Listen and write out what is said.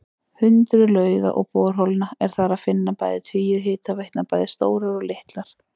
Hundruð lauga og borholna er þar að finna og tugir hitaveitna, bæði stórar og litlar.